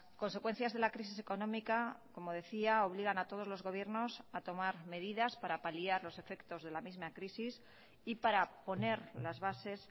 consecuencias de la crisis económica como decía obligan a todos los gobiernos a tomar medidas para paliar los efectos de la misma crisis y para poner las bases